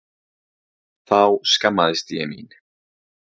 Þá skammaðist ég mín.